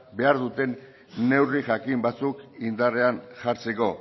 behar duten neurri jakin batzuk indarrean jartzeko